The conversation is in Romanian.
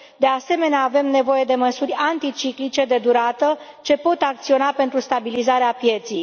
De asemenea, avem nevoie de măsuri anticiclice de durată, ce pot acționa pentru stabilizarea pieței.